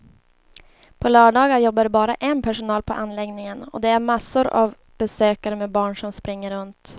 På lördagar jobbar det bara en personal på anläggningen och det är massor av besökare med barn som springer runt.